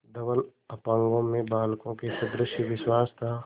धवल अपांगों में बालकों के सदृश विश्वास था